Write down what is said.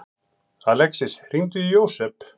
Alexis, hringdu í Jósep.